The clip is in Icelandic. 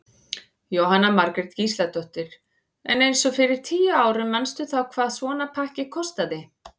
Jóhanna Margrét Gísladóttir: En eins og fyrir tíu árum manstu þá hvað svona pakki kostaði?